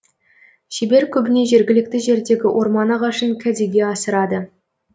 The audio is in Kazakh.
шебер көбіне жергілікті жердегі орман ағашын кәдеге асырады